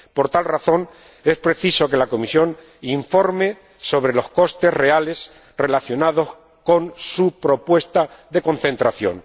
Por tal razón, es preciso que la Comisión informe sobre los costes reales relacionados con su propuesta de concentración.